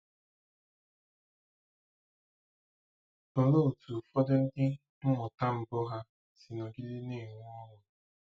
Olee otú ụfọdụ ndị mmụta mbụ ha si nọgide na-enwe ọṅụ?